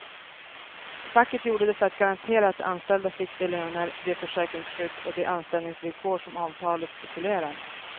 Facket gjorde det för att garantera att de anställda fick de löner, det försäkringsskydd och de anställningsvillkor som avtalet stipulerar.